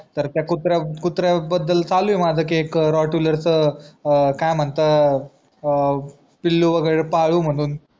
तर त्या कुत्र्या कुत्र्या बद्दल चालू आहे माझ की एक rottweiler च अं काय म्हणतात अं पिल्लू वगेरे पाडू म्हणून